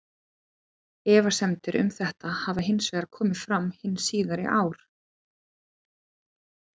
Efasemdir um þetta hafa hins vegar komið fram hin síðari ár.